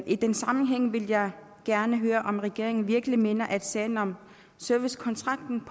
i den sammenhæng vil jeg gerne høre om regeringen virkelig mener at sagen om servicekontrakten